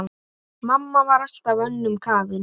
Mamma var alltaf önnum kafin.